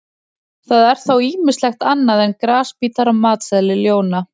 Það er þó ýmislegt annað en grasbítar á matseðli ljóna.